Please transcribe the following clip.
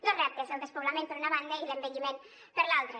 dos reptes el despoblament per una banda i l’envelliment per l’altra